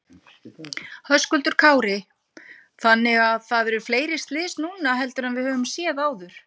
Höskuldur Kári: Þannig að það eru fleiri slys núna heldur en við höfum séð áður?